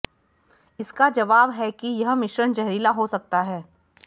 इसका जवाब है कि यह मिश्रण जहरीला हो सकता है